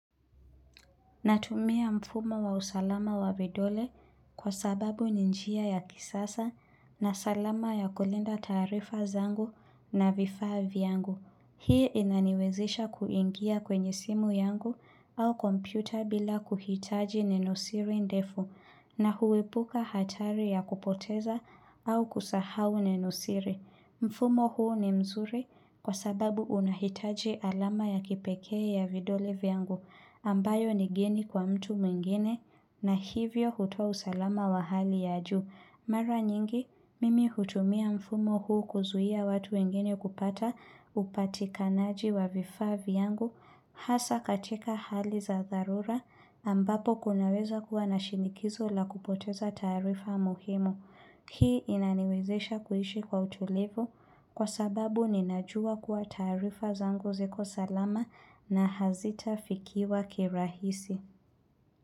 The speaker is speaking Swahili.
Natumia mfumo wa usalama wa vidole kwa sababu ni njia ya kisasa na salama ya kulinda taarifa zangu na vifaa vyangu. Hii inaniwezesha kuingia kwenye simu yangu au kompyuta bila kuhitaji nenosiri ndefu na huepuka hatari ya kupoteza au kusahau nenosiri. Mfumo huu ni mzuri kwa sababu unahitaji alama ya kipekee ya vidole vyangu ambayo ni geni kwa mtu mwingine na hivyo hutoa usalama wa hali ya juu. Mara nyingi, mimi hutumia mfumo huu kuzuia watu wengine kupata upatikanaji wa vifaa vyangu hasa katika hali za dharura ambapo kunaweza kuwa na shinikizo la kupoteza tarifa muhimu. Hii inaniwezesha kuishi kwa utulivu kwa sababu ninajua kuwa taarifa zangu ziko salama na hazitafikiwa kirahisi.